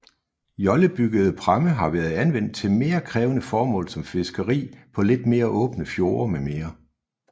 Jollebyggede pramme har været anvendt til mere krævende formål som fiskeri på lidt mere åbne fjorde mm